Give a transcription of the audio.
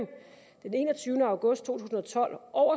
den enogtyvende august to tusind og tolv og